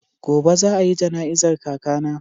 Gobe za a yi jana'izar kakana.